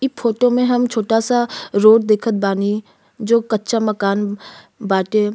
ई फ़ोतो में हम छोटा सा रोड़ देखत बानी जो कच्चा मकान बाटे।